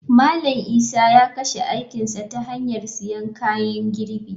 Malam Isa ya kashe aikin sa ta hanyar siyan kayan girbi.